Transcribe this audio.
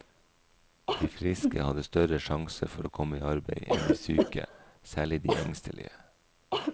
De friske hadde større sjanse for å komme i arbeid enn de syke, særlig de engstelige.